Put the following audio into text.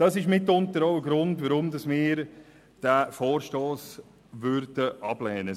Das ist mitunter ein Grund, weshalb wir den Vorstoss ablehnen würden.